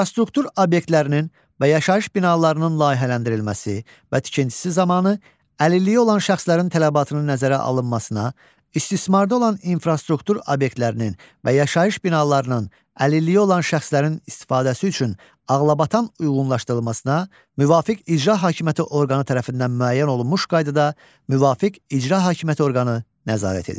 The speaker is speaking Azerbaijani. İnfrastruktur obyektlərinin və yaşayış binalarının layihələndirilməsi və tikintisi zamanı, əlilliyi olan şəxslərin tələbatının nəzərə alınmasına, istismarda olan infrastruktur obyektlərinin və yaşayış binalarının əlilliyi olan şəxslərin istifadəsi üçün ağlabatan uyğunlaşdırılmasına müvafiq icra hakimiyyəti orqanı tərəfindən müəyyən olunmuş qaydada müvafiq icra hakimiyyəti orqanı nəzarət edir.